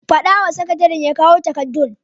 Faɗa wa sakatare ya kawo takardun.